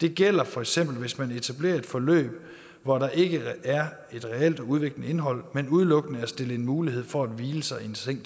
det gælder fx hvis man etablerer et forløb hvor der ikke er et reelt og udviklende indhold men udelukkende er stillet en mulighed for at hvile sig i en seng